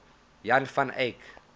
jan van eyck